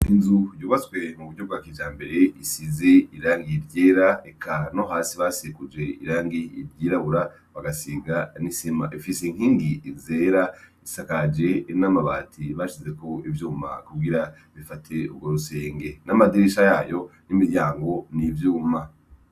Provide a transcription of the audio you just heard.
Inzu yubatswe mu buryo bwa kijambere isize irangi ryera eka no hasi basikuje irangi ryirabura bagasiga n' isima ifise inkingi zera isakaje n' amabati bashizeko ivyuma kugira bifate ugwo rusenge n' amadirisha yayo n' imiryango ni ivyuma.